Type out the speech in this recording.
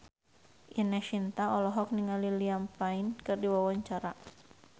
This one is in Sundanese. Ine Shintya olohok ningali Liam Payne keur diwawancara